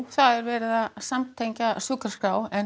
það er verið að samtengja sjúkraskrár en